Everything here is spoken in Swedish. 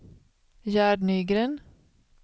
Gerd Nygren